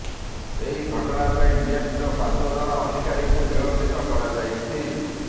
ଏହି ଘଟଣା ପାଇଁ ବିଏମସିର ପାଞ୍ଚ ଜଣ ଅଧିକାରୀଙ୍କୁ ନିଲମ୍ବିତ କରାଯାଇଛି